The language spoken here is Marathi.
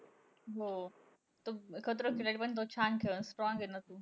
हो. तो खतरों के खिलाडीमध्ये तो छान खेळलं. strong आहे ना तो.